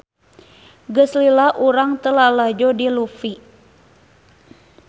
Geus lila urang teu lalajo si Luffy